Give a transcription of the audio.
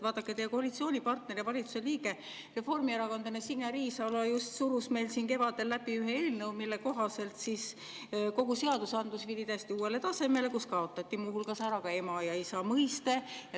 Vaadake, teie koalitsioonipartner ja valitsuse liige, reformierakondlane Signe Riisalo surus siin kevadel läbi ühe eelnõu, mille kohaselt kogu seadusandlus viidi uuele tasemele ja kaotati muu hulgas ära ema ja isa mõiste.